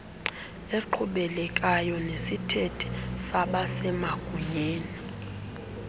eqhubekekayo nesithethe sabasemagunyeni